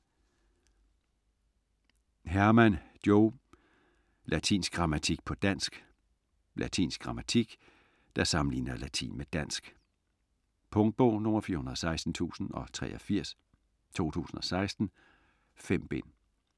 Hermann, Jo: Latinsk grammatik på dansk Latinsk grammatik der sammenligner latin med dansk. Punktbog 416083 2016. 5 bind.